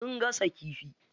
Sun gasa kifi.